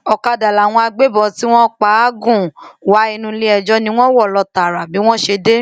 ọkadà làwọn agbébọn tí wọn pa á gùn wá inú iléẹjọ ni wọn wọ lọ tààrà bí wọn ṣe dé